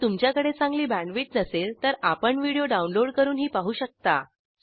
जर तुमच्याकडे चांगली बॅण्डविड्थ नसेल तर आपण व्हिडिओ डाउनलोड करूनही पाहू शकता